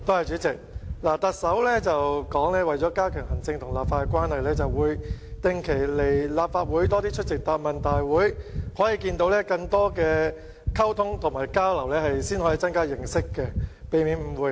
主席，行政長官曾說，為加強行政與立法的關係，會定期來到立法會，並增加出席答問會的次數，進行更多溝通及交流，以增加認識，避免誤會。